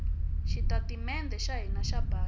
xitatimede xa hina xa bangi